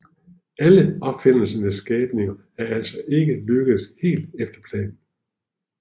Alle opfinderens skabninger er altså ikke lykkedes helt efter planen